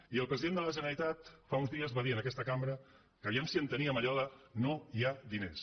i el president de la generalitat fa uns dies va dir en aquesta cambra que a veure si enteníem allò de no hi ha diners